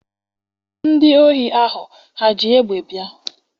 Ndị ohi ahụ ha ji egbe bịa?